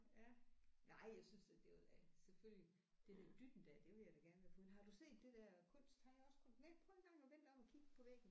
Ja nej jeg synes at det var da selvfølgelig det der dytten der det ville jeg da gerne være foruden. Har du set det der kunst har jeg også kun nej prøv engang at vend dig om og kig på væggen